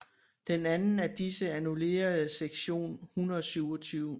Den anden af disse annullerede sektion 127